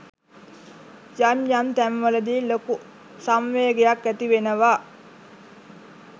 යම් යම් තැන්වලදි ලොකු සංවේගයක් ඇතිවෙනව.